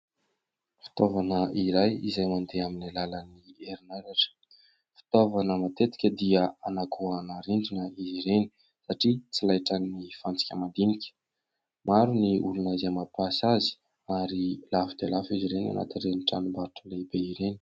Fitaovana iray izay mandeha amin'ny alalan'ny erinaratra, fitaovana matetika dia anagoahana rindrina ireny satria tsy lahitran'ny fantsika madinika. Maro ny olona izay mapiasa azy ary lafo dia lafo izy ireny anatin'ireny tranombarotra lehibe ireny.